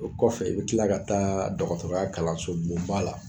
O kɔfɛ, i bɛ tila ka taa dɔgɔtɔrɔya kalansoba la.